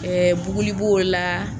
Ɛɛ buguli b'o la